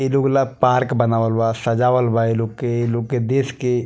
ये लोग ला पार्क बनावल बा सजावल बा ये लोग के ये लोग के देश के --